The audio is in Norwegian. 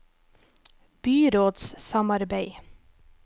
byrådssamarbeid